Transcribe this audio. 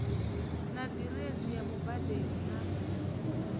na diresi ya mubadeli na